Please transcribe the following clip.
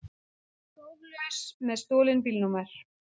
Próflaus með stolin bílnúmer